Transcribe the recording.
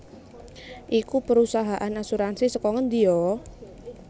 iku perusahaan asuransi saka ngendi yo?